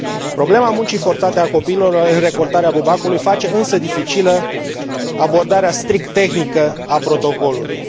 Problema muncii forțate a copiilor în recoltarea bumbacului face însă dificilă abordarea strict tehnică a protocolului.